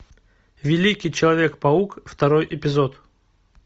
великий человек паук второй эпизод